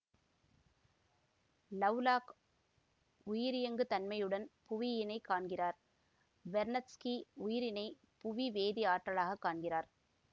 Lovelock உயிரியங்கு தன்மையுடன் புவியினை காண்கிறார் வெர்னத்ஸ்கி உயிரினை புவிவேதி ஆற்றலாகக் காண்கிறார்